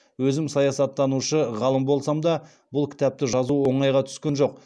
өзім саясаттанушы ғалым болсам да бұл кітапты жазу оңайға түскен жоқ